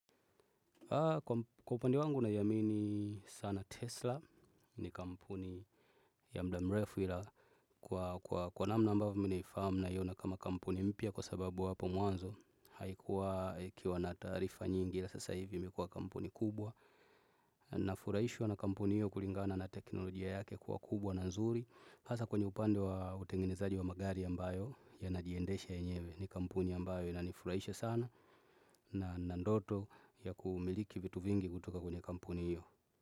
Kwa upande wangu naiamini sana Tesla ni kampuni ya muda mrefu ila kwa namna ambavyo mimi nahifahamu naiona kama kampuni mpya kwa sababu hapo mwanzo haikuwa ikiwa na taarifa nyingi ila sasa hivi imekuwa kampuni kubwa ninafurahishwa na kampuni hiyo kulingana na teknolojia yake kuwa kubwa na nzuri hasa kwenye upande wa utengenezaji wa magari ambayo ya najiendesha yenyewe ni kampuni ambayo inanifurahisha sana na ninandoto ya kumiliki vitu vingi kutoka kwenye kampuni hiyo.